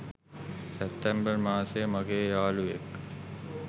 සෑප්තෑම්බර් මාසයෙ මගෙ යාලුවෙක්